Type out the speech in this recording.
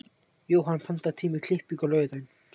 Jóhann, pantaðu tíma í klippingu á laugardaginn.